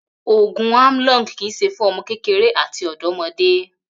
Ògùn Amlong kì í s̩e fún o̩mo̩ kékeré àti ò̩dó̩mo̩dé